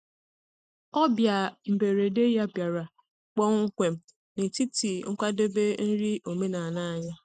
Ọbịa mberede ya bịara kpọmkwem n’etiti nkwadebe nri omenala anyị.